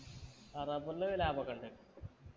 ആ rubber ന് ലാഭൊക്കെണ്ട്